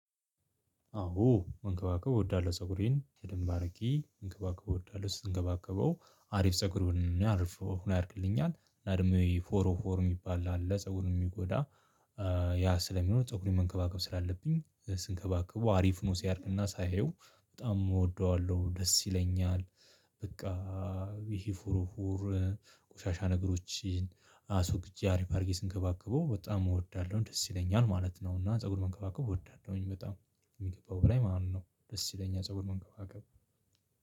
አዎ መንከባከብ እወዳለሁ ፀጉሬን በደንብ አድርጌ መንከባከብ እወዳለሁ ስንከባከበው አሪፍ ፀጉር አሪፍ ያድግልኛል እና ደግሞ ፎሮ ፎር የሚባል አለ ፀጉሩን የሚጎዳ ያ ስለሚሆን ፀጉሬን መንከባከብ ስላለብኝ ስንከባከበው አሪፍ ሆኖ ሲያድግና ሳየው በጣም እወደዋለሁ ደስ ይለኛል። በቃ ይሄ ፎርፎር ቆሻሻ ነገሮችን አስወግጄ አሪፍ አድርጌ ስንከባከበው በጣም እወዳለሁ ደስ ይለኛል ማለት ነው። እና ፀጉር መንከባከብ እወዳለሁኝ በጣም ከሚገባው በላይ ማለት ነው። ደስ ይለኛል ፀጉር መንከባከብ።